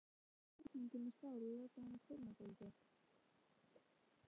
Hellið jafningnum í skál og látið hann kólna dálítið.